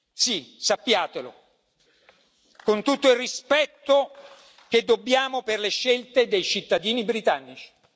Sì, sappiatelo, con tutto il rispetto che dobbiamo per le scelte dei cittadini britannici.